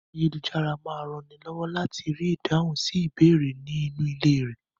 Ayélujára máa rànni lọ́wọ́ láti rí ìdáhùn sí ìbéèrè ní inú ilé rẹ.